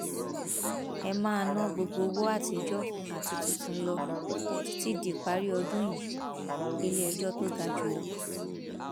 ẹ máa ná gbogbo owó àtijọ àti tuntun lọ títí díparí ọdún yìíiléẹjọ tó ga jù lọ